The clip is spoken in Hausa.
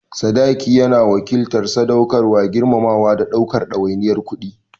Sadaki yana wakiltar sadaukarwa, girmamawa, da ɗaukar ɗawainiyar kuɗi.